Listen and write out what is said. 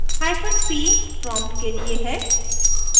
hyphen p prompt के लिए है